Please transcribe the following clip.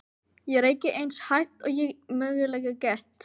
Ég reyki eins hægt og ég mögulega get.